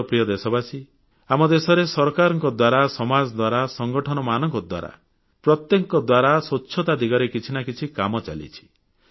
ମୋର ପ୍ରିୟ ଦେଶବାସୀ ଆମ ଦେଶରେ ସରକାରଙ୍କ ଦ୍ୱାରା ସମାଜ ଦ୍ୱାରା ସଂଗଠନମାନଙ୍କ ଦ୍ୱାରା ପ୍ରତ୍ୟେକଙ୍କ ଦ୍ୱାରା ସ୍ୱଚ୍ଛତା ଦିଗରେ କିଛି ନା କିଛି କାମ ଚାଲିଛି